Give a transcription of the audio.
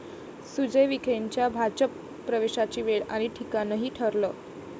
सुजय विखेंच्या भाजप प्रवेशाची वेळ आणि ठिकाणही ठरलं!